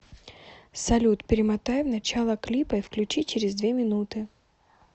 салют перемотай в начало клипа и включи через две минуты